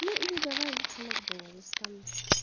ну или давай лучше макдональдс там